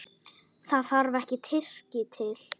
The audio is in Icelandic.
Það þarf ekki Tyrki til.